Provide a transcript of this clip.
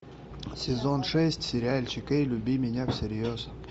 сезон шесть сериальчик эй люби меня всерьез